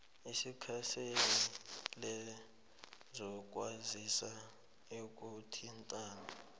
ikhansela lezokwazisa nokuthintana